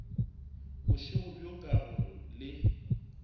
bošego bjo ka gore le